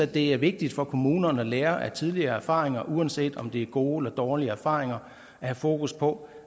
det er vigtigt for kommunerne at lære af tidligere erfaringer uanset om det er gode eller dårlige erfaringer at have fokus på